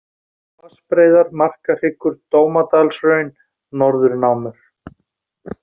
Vatnsbreiðar, Markahryggur, Dómadalshraun, Norðurnámur